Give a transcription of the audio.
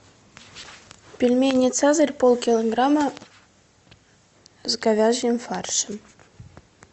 пельмени цезарь полкилограмма с говяжьим фаршем